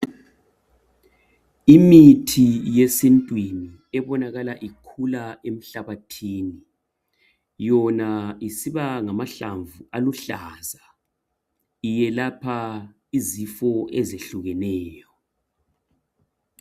Imithi yesintwini ebonakala ikhula emhlabathini yona isiba ngamahlamvu aluhlaza, iyelapha izifo ezehlukeneyo